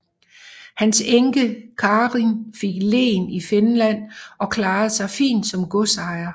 Hans enke Karin fik len i Finland og klarede sig fint som godsejer